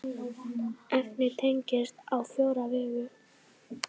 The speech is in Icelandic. Efnið teygist á fjóra vegu.